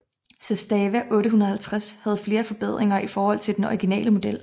Zastava 850 havde flere forbedringer i forhold til den originale model